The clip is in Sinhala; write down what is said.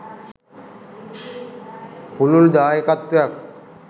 පුළුල් දායකත්වයක්